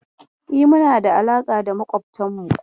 E, muna da alaƙa mai kyau da makwabtanmu.